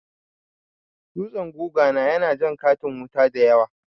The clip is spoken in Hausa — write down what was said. Dutsen guga na ya na jan katin wuta dayawa